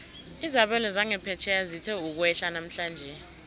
izabelo zangaphetjheya zithe ukwehla namhlanje